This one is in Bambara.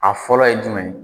A fɔlɔ ye jumɛn ye?